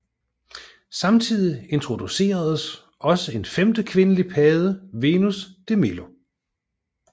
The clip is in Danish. Samtidig introduceredes også en femte kvindelig padde Venus de Milo